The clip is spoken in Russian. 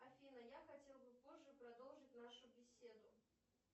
афина я хотел бы позже продолжить нашу беседу